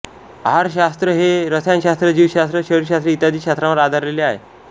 आहारशास्र हे रसायनशास्र जीवशास्र शरीरशास्र इत्यादी शास्त्रांवर आधारलेले आहे